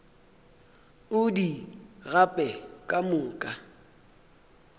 o di gape ka moka